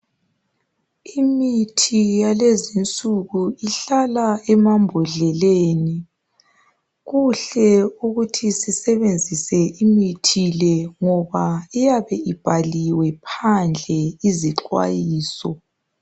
Imithi yalezinsuku ihlala emambodleleni kuhle ukuthi sisebenzise imithi le ngoba iyabe ibhaliwe phandle izixwayiso.